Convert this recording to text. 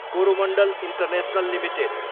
Coromandel International Ltd